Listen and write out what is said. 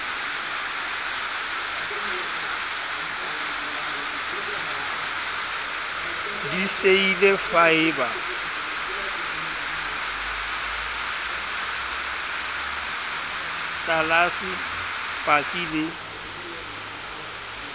diseili faeba tlelase patsi le